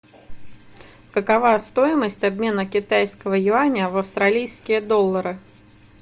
какова стоимость обмена китайского юаня в австралийские доллары